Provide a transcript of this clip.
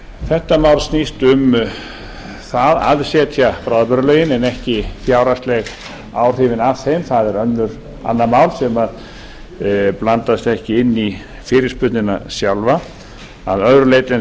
þetta mál snýst um það að setja bráðabirgðalögin en ekki fjárhagsleg ábyrgðin af þeim það er annað mál sem blandast ekki inn í fyrirspurnina sjálfa að öðru leyti en